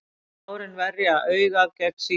tárin verja augað gegn sýkingum